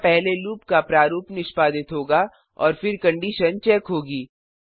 यहाँ पहले लूप का प्रारूप निष्पादित होगा और फिर कंडिशन चेक होगी